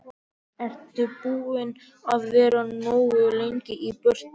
Ertu ekki búinn að vera nógu lengi í burtu.